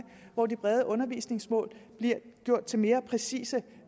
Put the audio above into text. hvor de brede undervisningsmål bliver gjort til mere præcise